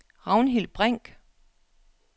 Ragnhild Brink